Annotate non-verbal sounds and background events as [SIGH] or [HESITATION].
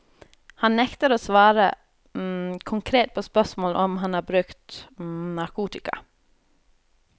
Han nekter å svare [HESITATION] konkret på spørsmål om han har brukt [HESITATION] narkotika.